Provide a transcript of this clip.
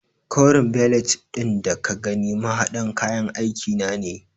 Koren belet ɗin da ka gani mahaɗin kayan aiki na ne.